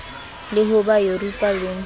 le ho ba yuropa le